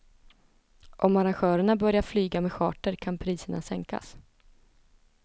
Om arrangörerna börjar flyga med charter kan priserna sänkas.